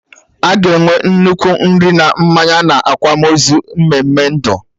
Aga enwe nnukwu nri na mmanya na akwamozu mmeme ndụ